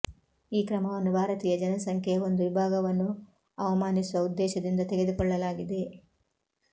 ಈ ಕ್ರಮವನ್ನು ಭಾರತೀಯ ಜನಸಂಖ್ಯೆಯ ಒಂದು ವಿಭಾಗವನ್ನು ಅವಮಾನಿಸುವ ಉದ್ದೇಶದಿಂದ ತೆಗೆದುಕೊಳ್ಳಲಾಗಿದೆ